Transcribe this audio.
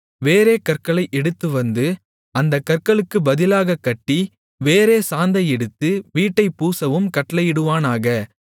வேறே கற்களை எடுத்துவந்து அந்தக் கற்களுக்குப் பதிலாகக் கட்டி வேறே சாந்தை எடுத்து வீட்டைப் பூசவும் கட்டளையிடுவானாக